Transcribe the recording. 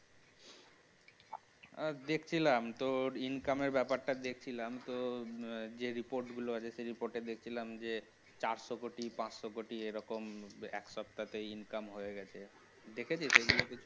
আর দেখছিলাম তোর income এর ব্যাপারটা দেখছিলাম তোর যে report গুলো আছে সেই report এ দেখছিলাম যে চারশো কোটি পাঁচশো কোটি এরকম এক সপ্তাহে income হয়ে গেছে দেখেছিস ওগুলো?